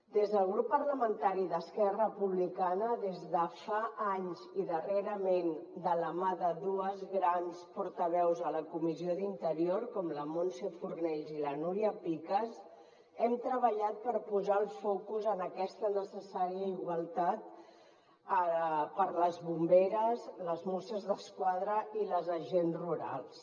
des del grup parlamentari d’esquerra republicana des de fa anys i darrerament de la mà de dues grans portaveus a la comissió d’interior com la montse fornells i la núria picas hem treballat per posar el focus en aquesta necessària igualtat per a les bomberes les mosses d’esquadra i les agents rurals